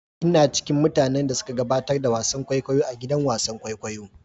Ina ciƙin mutanen da suƙa gaɓatar da wasan ƙwaiƙwayo a gidan wasan ƙwaiƙwayo.